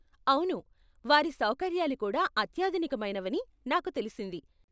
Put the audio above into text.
అవును, వారి సౌకర్యాలు కూడా అత్యాధునికమైనవి అని నాకు తెలిసింది.